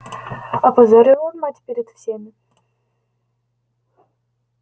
опозорил он мать перед всеми